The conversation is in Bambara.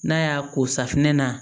N'a y'a ko safunɛ na